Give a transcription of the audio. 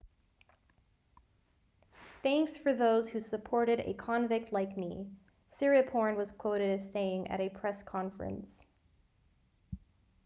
thanks for those who supported a convict like me siriporn was quoted as saying at a press conference